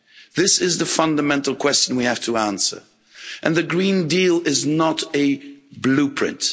This is the fundamental question we have to answer, and the Green Deal is not a blueprint.